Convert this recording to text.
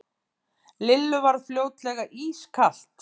Lillu varð fljótlega ískalt.